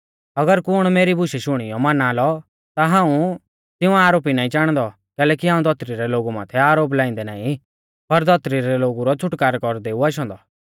अगर कुण मेरी बुशै शुणियौ नाईं माना लौ ता हाऊं तिऊं आरोपी नाईं चाणदौ कैलैकि हाऊं धौतरी रै लोगु माथै आरोप लाइंदै नाईं पर धौतरी रै लोगु रौ छ़ुटकारै कौरदै ऊ आशौ औन्दौ